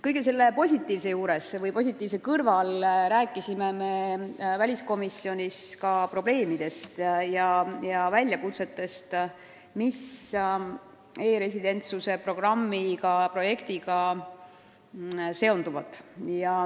Kõige selle positiivse kõrval rääkisime väliskomisjonis ka probleemidest ja väljakutsetest, mis e-residentsuse programmi projektiga seonduvad.